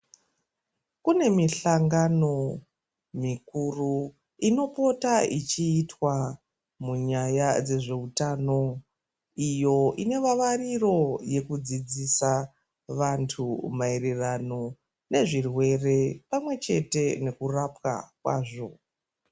Kune mihlangano mikuru inopota yechiitwa munyaya dzezveutano iyo ine vavariro yekudzidzisa vanthu maererano nezvirwere pamwechete nekurapwa kwazvo.